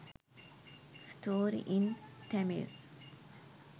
story in tamil